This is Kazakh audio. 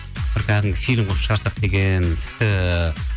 бір кәдімгі фильм қылып шығарсақ деген тіпті